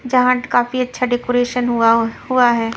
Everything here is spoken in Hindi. जहाँ काफी अच्छा डेकोरेशन हुआ हुआ है।